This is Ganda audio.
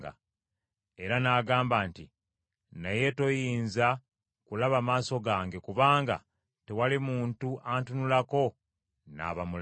Era n’agamba nti, “Naye toyinza kulaba maaso gange, kubanga tewali muntu antunulako n’aba mulamu.”